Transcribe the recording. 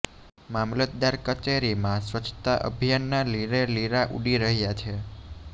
મામલતદાર કચેરીમાં સ્વચ્છતા અભિયાનના લીરે લીરા ઉડી રહ્યા છે